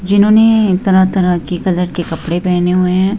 जिन्होंने तरह-तरह के कलर के कपड़े पहने हुए हैं।